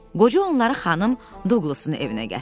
Qoca onları xanım Duqlusun evinə gətirdi.